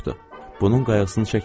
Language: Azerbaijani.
Bunun qayğısını çəkmirəm.